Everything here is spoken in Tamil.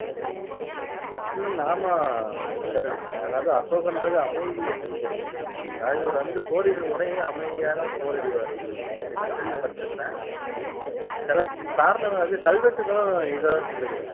உம் ஆமா கஜலட்சுமி அதாவது அசோகன்றது அமைதியை குறிக்கிறது அதாவது இவர் வந்து போரிடும் முறையே அமைதியா தான் போரிடுவாரு அப்படின்னு தான் கேள்விப்பட்டுருக்குறேன் உம் சில காரணங்கள் வந்து கல்வெட்டுக்களும் இத தான் சொல்லுது